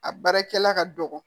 A baarakɛla ka dɔgɔn